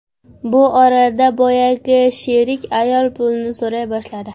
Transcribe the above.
Bu orada boyagi sherik ayol pulini so‘ray boshladi.